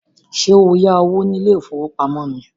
Ṣé o yá owó ní ilé ìfowópamọ́ ni?